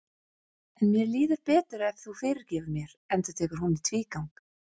En mér líður betur ef þú fyrirgefur mér, endurtekur hún í tvígang.